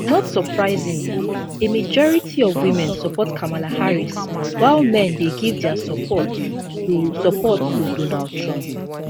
not surprisingly a majority of women support kamala harris while men dey give dia support to support to donald trump